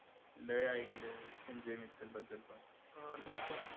लय ऐकलंय संजय मित्राबद्दल पण